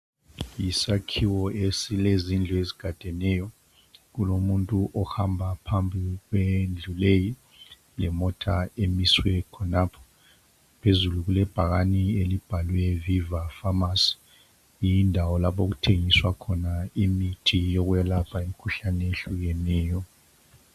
Isakhiwo esilezindlu ezigadeneyo Kulomuntu ohamba phambi kwendlu leyi .Lemota emiswe khonapho .Phezulu kulebhakane elibhalwe Viva pharmacy . Yindawo lapho okuthengiswa khona imithi yokwelapha imkhuhlane eyehlukeneyo.